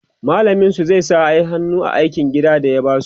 mallamin su zai sa hannu a aikin gida da ya basu